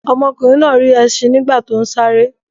Ọmọkùnrin náà rí ẹṣin nígbà tó ń sáré.